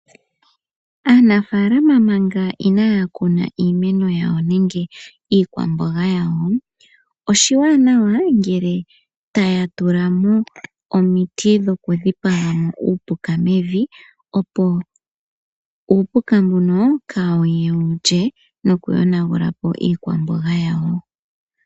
Aanafaalama manga inaayakuna iimeno yawo nenge iikwamboga yawo, oshiwanawa ngele taya tulamo omiti dhoku dhipagamo uupuka mevi opo uupuka mbuno kaawuye wulye noku yonagulapo iikwamboga yawo.